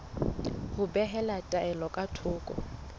ho behela taelo ka thoko